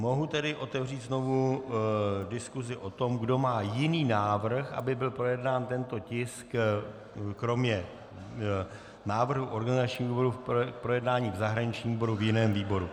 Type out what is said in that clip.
Mohu tedy otevřít znovu diskusi o tom, kdo má jiný návrh, aby byl projednán tento tisk kromě návrhu organizačního výboru k projednání v zahraničním výboru v jiném výboru.